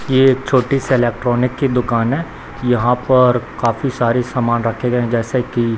ये एक छोटी सी इलेक्ट्रॉनिक की दुकान है यहां पर काफी सारे सामान रखे गए जैसे कि --